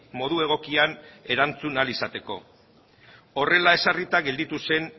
modu egokian erantzun ahal izateko horrela ezarrita gelditu zen